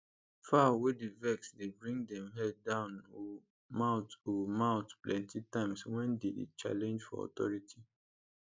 fowl wey dey vex dey bring dem head down o mouth o mouth plenty times wen dem dey challenge for authority